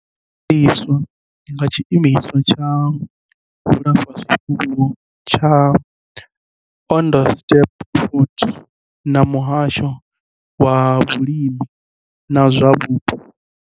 Yo gandiswa nga Tshiimiswa tsha vhulafhazwifuwo tsha Onderstepoort na muhasho wa vhulimi na zwa vhupo.